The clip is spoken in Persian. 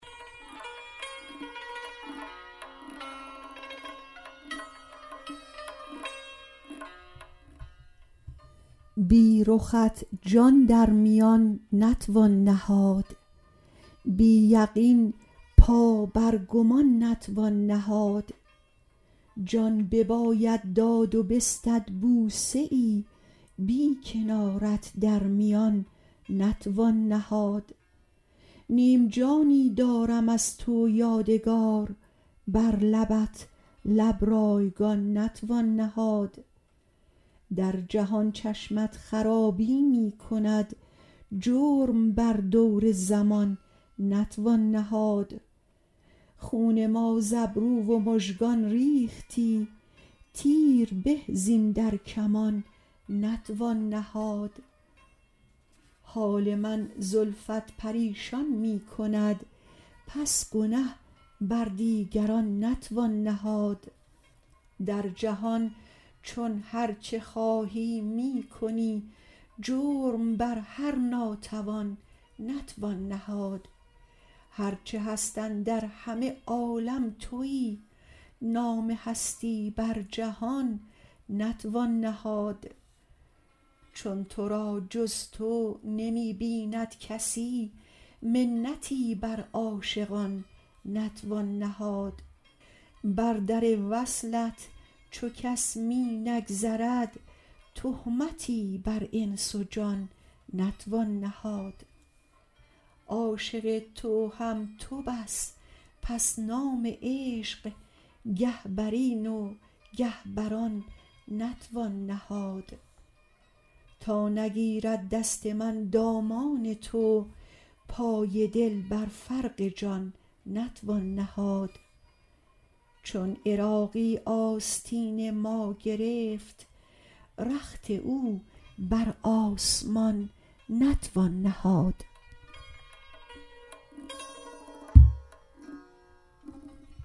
بی رخت جان در میان نتوان نهاد بی یقین پا بر گمان نتوان نهاد جان بباید داد و بستد بوسه ای بی کنارت در میان نتوان نهاد نیم جانی دارم از تو یادگار بر لبت لب رایگان نتوان نهاد در جهان چشمت خرابی می کند جرم بر دور زمان نتوان نهاد خون ما ز ابرو و مژگان ریختی تیر به زین در کمان نتوان نهاد حال من زلفت پریشان می کند پس گنه بر دیگران نتوان نهاد در جهان چون هرچه خواهی می کنی جرم بر هر ناتوان نتوان نهاد هر چه هست اندر همه عالم تویی نام هستی بر جهان نتوان نهاد چون تو را جز تو نمی بیند کسی منتی بر عاشقان نتوان نهاد بر در وصلت چو کس می نگذرد تهمتی بر انس و جان نتوان نهاد عاشق تو هم تو بس پس نام عشق گه برین و گه بر آن نتوان نهاد تا نگیرد دست من دامان تو پای دل بر فرق جان نتوان نهاد چون عراقی آستین ما گرفت رخت او بر آسمان نتوان نهاد